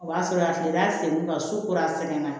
O b'a sɔrɔ a tilara sengu ka su kura sɛgɛn na